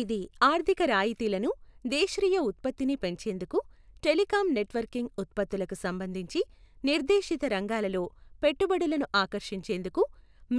ఇది ఆర్ధిక రాయితీలను దేశృయ ఉత్పత్తిని పెంచేందుకు, టెలికం నెట్వర్కింగ్ ఉత్పత్తులకు సంబంధించి నిర్డేశిత రంగాలలో పెట్టుబడులను ఆకర్షించేందుకు,